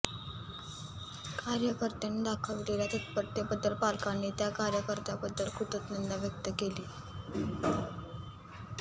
कार्यकर्त्यांनी दाखविलेल्या तत्परतेबद्दल पालकांनी त्या कार्यकर्त्यांबद्दल कृतज्ञता व्यक्त केली